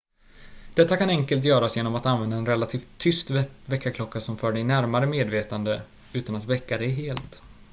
detta kan enkelt göras genom att använda en relativt tyst väckarklocka som för dig närmare medvetandet utan att väcka dig helt